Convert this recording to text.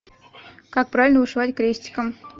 как правильно вышивать крестиком